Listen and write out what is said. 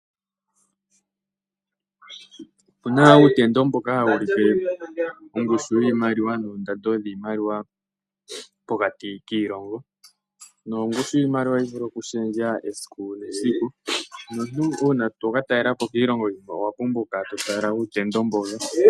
Opuna uutendo mboka hawu ulike ongushu yiimaliwa noondando dhiimaliwa pokati kiilongo. Nongushu yiimaliwa ohayi vulu oku shendja esiku nesiku nomuntu uuna toka talelapo kiilongo iikwawo owapumbwa oku kala to tala uutendo mbono.